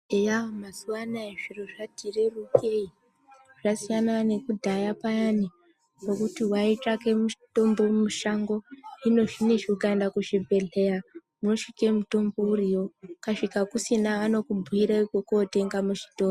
Eya mazuwa anaya zviro zvati rerukei zvasiyana nekudhaya payani pekuti waitsvake mutombo mushango hino zvinezvi ukaenda kuzvibhedhleya unosvike mutombo uriyo ukasvika kusina vanokubhiire kwekotenga muzvitoro.